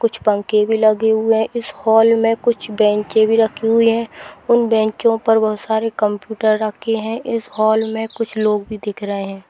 कुछ पंखे भी लगे हुए हैं इस हॉल में कुछ बेंचें भी रखी हुई हैं उन बेंचों पर बहुत सारे कंप्यूटर भी रखे हैं इस हॉल में कुछ लोग भी दिख रहें हैं।